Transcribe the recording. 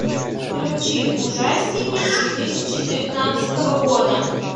включи ужастики две тысячи девятнадцатого года